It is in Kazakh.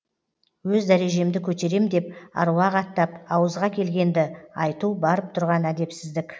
өз дәрежемді көтерем деп аруақ аттап ауызға келгенді айту барып тұрған әдепсіздік